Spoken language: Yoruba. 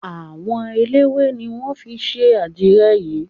Àwọ eléwé ni wọ́n fi ṣe àdirẹ̀ yìí.